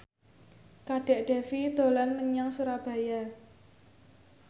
Kadek Devi dolan menyang Surabaya